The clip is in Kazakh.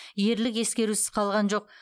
ерлік ескерусіз қалған жоқ